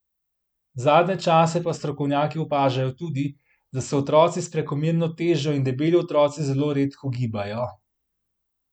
Zadnje čase pa strokovnjaki opažajo tudi, da se otroci s prekomerno težo in debeli otroci zelo redko gibajo.